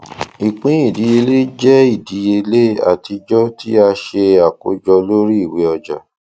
ìpín ìdíyèlé jẹ ìdíyèlé atijọ ti a ṣe akojọ lori iwe ọja